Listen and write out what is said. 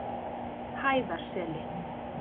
Hæðarseli